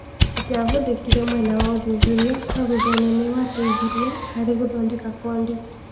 Maya matiahũthĩkire mwena wa ũthuthuria no thuthainĩ nĩwateithirie harĩ gũthondeka kondi.